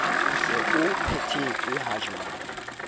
o se o phethetswe hajwale